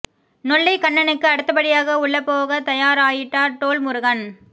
நொல்லை கண்ணனுக்கு அடுத்தபடியாக உள்ள போக தயார் ஆயிட்டார் டோல் முருகன்